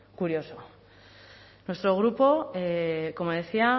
curioso nuestro grupo como decía